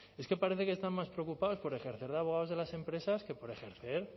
es que parece que están más preocupados por ejercer de abogados de las empresas que por ejercer